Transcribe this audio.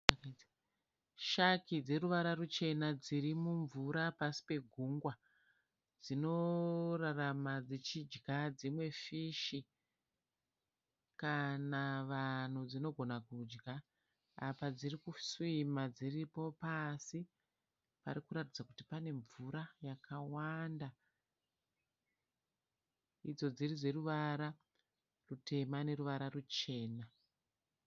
Shaki dzoruvara ruchena dziri mumvura pasi pegungwa. Dzinorarama dzichidya dzimwe fishi kana vanhu dzinogona kudya. Apa dziri kusiwima dziripo pasi pari kuratidza kuti pane mvura yakawanda, idzo dziri dzeruvara rutema noruchena.